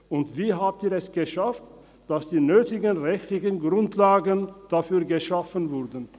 Und: Wie haben Sie es geschafft, dass die nötigen rechtlichen Grundlagen dafür geschaffen wurden?